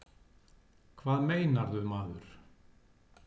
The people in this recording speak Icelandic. Hvað meinarðu, maður?